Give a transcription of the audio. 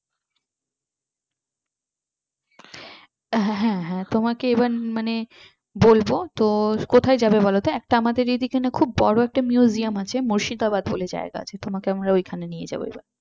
হ্যাঁ হ্যাঁ তোমাকে এবার মানে বলবো তো কোথায় যাবে বলতো একটা আমাদের এই যে এখানে বড় একটা museum আছে মুর্শিদাবাদ বলে জায়গা আছে তোমাকে আমরা ওইখানে নিয়ে যাব এবার।